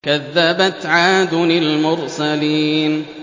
كَذَّبَتْ عَادٌ الْمُرْسَلِينَ